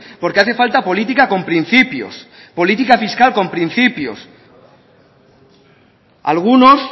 porque hace falta política con principios política fiscal con principios algunos